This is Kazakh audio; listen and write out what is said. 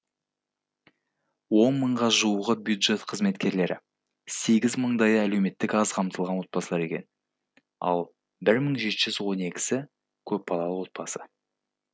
он мыңға жуығы бюджет қызметкерлері сегіз мыңдайы әлеуметтік аз қамтылған отбасылар екен ал мың жеті жүз он екісі көпбалалы отбасы